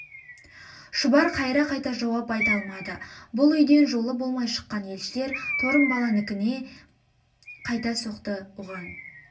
шұбар қайыра қайта жауап айта алмады бұл үйден жолы болмай шыққан елшілер торымбаланікіңе қайта соқты оған